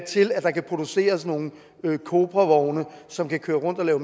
til at der kan produceres nogle cobravogne som kan køre rundt og